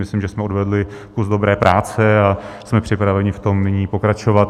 Myslím, že jsme odvedli kus dobré práce, a jsme připraveni v tom nyní pokračovat.